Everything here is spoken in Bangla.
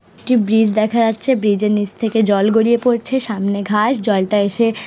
একটি ব্রিজ দেখা যাচ্ছে ব্রিজের নীচ থেকে জল গড়িয়ে পড়ছেসামনে ঘাস জলটা এসে--